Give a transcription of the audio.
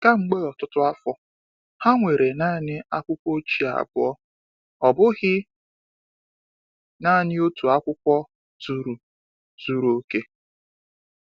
Kamgbe ọtụtụ afọ, ha nwere naanị akwụkwọ ochie abụọ — ọ bụghị naanị otu akwụkwọ zuru zuru oke.